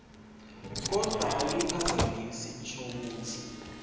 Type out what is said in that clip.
kodvwa awuyiphazamisi inshokutsi